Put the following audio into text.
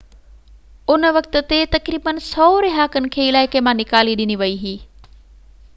ان وقت تي تقريبن 100 رهاڪن کي علائقي مان نيڪالي ڏني وئي هئي